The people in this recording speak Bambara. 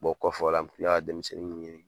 Bɔ kɔfɔla ne ka denmisɛnnin nunnu ye.